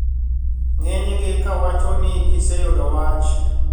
Ng`enygi ka wacho ni giseyudo wach